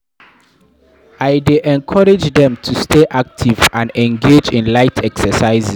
I dey encourage dem to stay active and engage in light exercises.